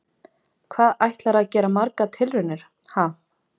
Hvað ætlarðu að gera margar tilraunir, ha?